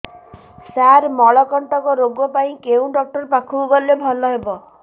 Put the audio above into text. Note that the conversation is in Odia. ସାର ମଳକଣ୍ଟକ ରୋଗ ପାଇଁ କେଉଁ ଡକ୍ଟର ପାଖକୁ ଗଲେ ଭଲ ହେବ